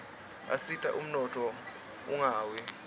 asita umnotfo ungawi